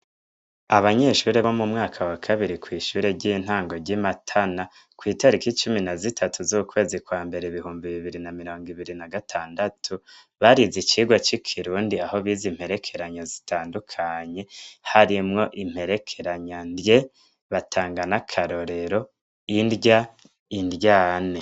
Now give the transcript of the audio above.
Abanyeshuri bo mu mwaka wa kabiri kw'ishuri ry'intango ry'i matana kw'itaro iko icumi na zitatu z'ukwezi kwa mbere ibihumbi bibiri na mirango ibiri na gatandatu barize icirwa c'i kirundi aho biza imperekeranyo zitandukanye harimwo imperekeranya ndye batangana akarorero indya indyane.